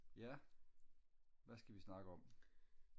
ja hvad skal vi snakke om